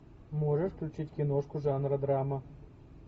можешь включить киношку жанра драма